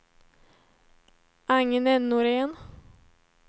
Agne Norén